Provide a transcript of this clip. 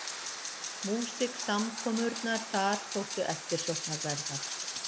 Músiksamkomurnar þar þóttu eftirsóknarverðar.